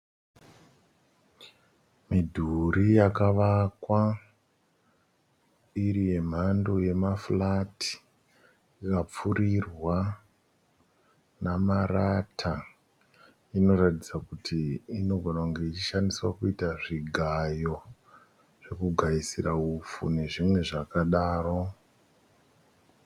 Midhuri yakavakwa iri yemhando yemafurati, ikapfuurirwa namarata. Inoratidza kuti inogona kunge ichishandiswa kuita zvigayo zvekugaisira upfu nezvimwe zvakadaro.